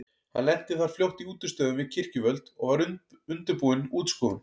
Hann lenti þar fljótt í útistöðum við kirkjuvöld og var undirbúin útskúfun.